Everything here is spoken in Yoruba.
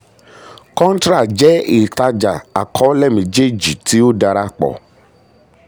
um contra jẹ́ ìtajà àkọọlẹ méjèèjì tí ó dára pọ̀.